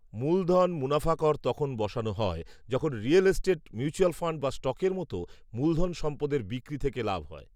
মূলধন মুনাফা কর তখন বসানো হয় যখন রিয়েল এস্টেট, মিউচুয়াল ফান্ড বা স্টকের মতো মূলধন সম্পদের বিক্রি থেকে লাভ হয়।